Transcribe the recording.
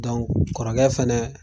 kɔrɔkɛ fɛnɛ